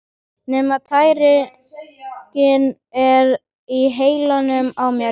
Nema tæringin er í heilanum á mér!